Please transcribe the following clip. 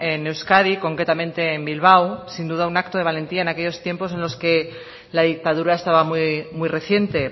en euskadi concretamente en bilbao sin duda un acto de valentía en aquellos tiempos en los que la dictadura estaba muy reciente